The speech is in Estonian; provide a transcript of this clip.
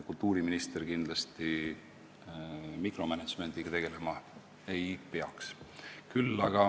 Kultuuriminister kindlasti mikromänedžmendiga tegelema ei peaks.